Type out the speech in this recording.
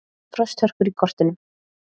Frosthörkur í kortunum